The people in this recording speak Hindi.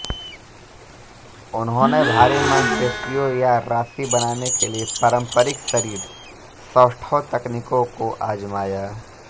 उन्होंने भारी मांसपेशियों या राशि बनाने के लिए पारंपरिक शरीर सौष्ठव तकनीकों को आज़माया